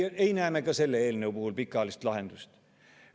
Ei näe me ka selle eelnõu puhul pikaajalist lahendust.